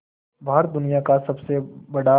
भारत दुनिया का सबसे बड़ा